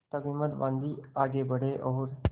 तब हिम्मत बॉँधी आगे बड़े और